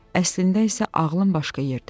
Əslində isə ağlım başqa yerdə idi.